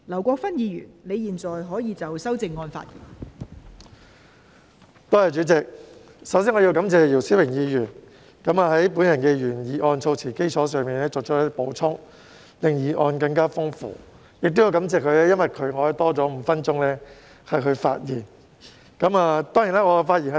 代理主席，首先我要感謝姚思榮議員以我的原議案措辭為基礎作出補充，令議案更加豐富。我亦要感謝他，因為他令我有多5分鐘發言時間。